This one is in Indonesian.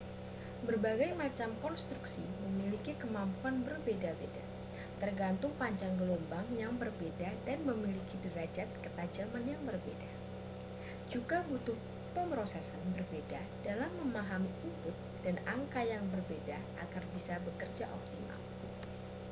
berbagai macam konstruksi memiliki kemampuan berbeda-beda tergantung panjang gelombang yang berbeda dan memiliki derajat ketajaman yang berbeda juga butuh pemrosesan berbeda dalam memahami input dan angka yang berbeda agar bisa bekerja optimal